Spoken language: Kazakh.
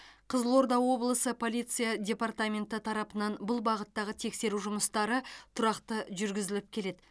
қызылорда облысы полиция департаменті тарапынан бұл бағыттағы тексеру жұмыстары тұрақты жүргізіліп келеді